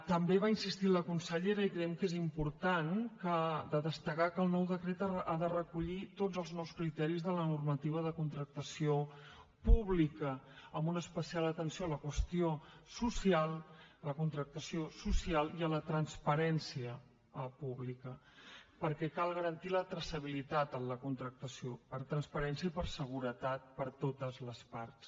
també va insistir la consellera i creiem que és important de destacar que el nou decret ha de recollir tots els nous criteris de la normativa de contractació pública amb una especial atenció a la qüestió social a la contractació social i a la transparència pública perquè cal garantir la traçabilitat en la contractació per transparència i per seguretat per a totes les parts